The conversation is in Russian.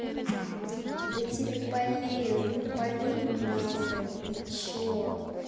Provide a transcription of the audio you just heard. да тебе полезно поверь мне на слово ты что